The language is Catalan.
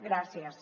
gràcies